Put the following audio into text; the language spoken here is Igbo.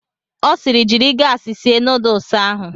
Ọ siiri, jiri gaasi sie nuduls ahụ!